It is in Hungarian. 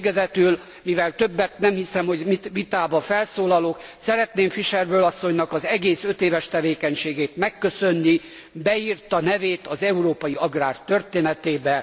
És végezetül, mivel többet nem hiszem, hogy vitában felszólalok, szeretném Fischer Boel asszonynak az egész 5 éves tevékenységét megköszönni, beírta nevét az európai agrárium történetébe.